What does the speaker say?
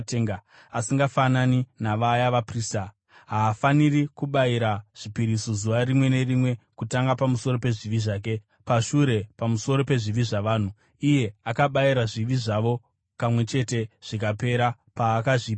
Asingafanani navaya vaprista, haafaniri kubayira zvipiriso zuva rimwe nerimwe, kutanga pamusoro pezvivi zvake, pashure pamusoro pezvivi zvavanhu. Akabayira zvivi zvavo kamwe chete zvikapera paakazvipa iye.